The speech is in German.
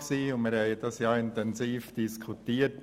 Wir hatten das Thema intensiv diskutiert.